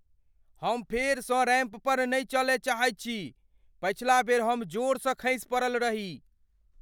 हम फेरसँ रैंप पर नहि चलय चाहैत छी। पछिला बेर हम बड़ जोरसँ खसि पड़ल रही।